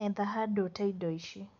Etha handũ ũtee indo ici.